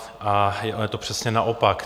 A je to přesně naopak.